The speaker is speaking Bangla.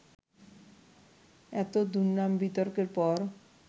এত দুর্নাম, বিতর্কের পর